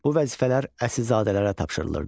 Bu vəzifələr əsilzadələrə tapşırılırdı.